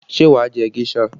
Ṣé wà á jẹ géṣà?